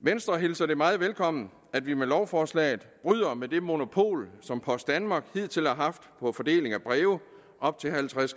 venstre hilser det meget velkommen at vi med lovforslaget bryder med det monopol som post danmark hidtil har haft på fordeling af breve op til halvtreds